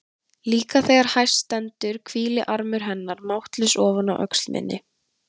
Líka þegar hæst stendur hvílir armur hennar máttlaus ofan á öxl minni.